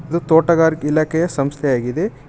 ಇದು ತೋಟಗಾರಿಕೆ ಇಲಾಖೆಯ ಸಂಸ್ಥೆಯಾಗಿದೆ ಇದ್--